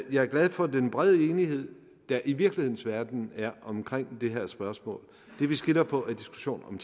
er glad for den brede enighed der i virkelighedens verden er omkring det her spørgsmål det vi skiller på er diskussionen